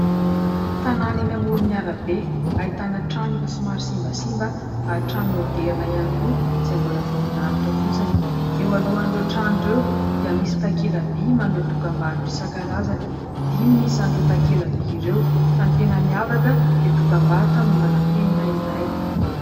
Tanàna eny amoron'arabe, ahitana trano efa somary simbasimba ary trano maoderina ihany koa izay mbola vao milalotra fotsiny ; eo alohan'ireo trano ireo dia misy takela-by maneho dokam-barotra isan-karazany. Dimy ny isany ireo takela-by ireo fa ny tena miavaka dia dokam-barotra mombana penina iray.